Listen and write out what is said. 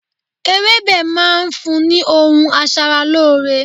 Ewébẹ̀ máa ń fún ni ohun aṣaralóore.